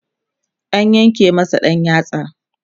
an yanke masa ɗan yatsa